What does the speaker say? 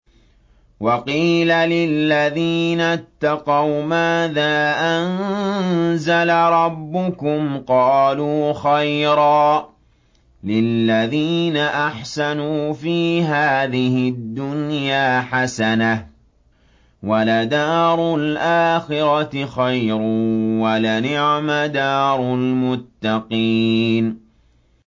۞ وَقِيلَ لِلَّذِينَ اتَّقَوْا مَاذَا أَنزَلَ رَبُّكُمْ ۚ قَالُوا خَيْرًا ۗ لِّلَّذِينَ أَحْسَنُوا فِي هَٰذِهِ الدُّنْيَا حَسَنَةٌ ۚ وَلَدَارُ الْآخِرَةِ خَيْرٌ ۚ وَلَنِعْمَ دَارُ الْمُتَّقِينَ